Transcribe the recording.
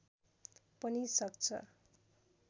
पनि सक्छ